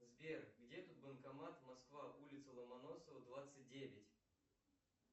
сбер где тут банкомат москва улица ломоносова двадцать девять